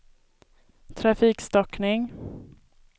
trafikstockning